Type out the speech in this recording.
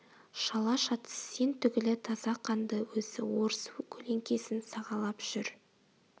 шала-шатыс сен түгілі таза қанды өзі орыс көлеңкесін сағалап жүр